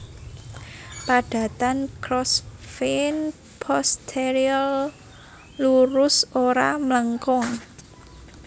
Padatan Crossvein posterior lurus ora mlengkung